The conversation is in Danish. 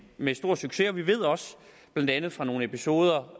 med stor succes og vi ved også blandt andet fra nogle episoder